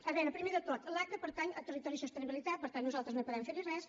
a veure primer de tot l’aca pertany a territori i sostenibilitat per tant nosaltres no podem fer hi res